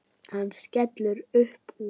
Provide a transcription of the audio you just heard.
Hann skellir upp úr.